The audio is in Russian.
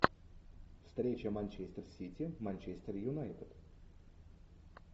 встреча манчестер сити манчестер юнайтед